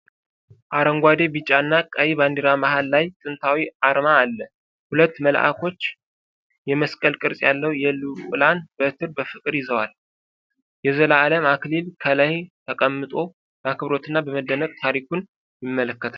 አረንጓዴ፣ ቢጫና ቀይ ባንዲራ መሃል ላይ ጥንታዊ አርማ አለ። ሁለት መልአኮች የመስቀል ቅርጽ ያለው የልዑላን በትር በፍቅር ይዘዋል። የዘላለም አክሊል ከላይ ተቀምጦ፣ በአክብሮትና በመደነቅ ታሪኩን ይመለከታል።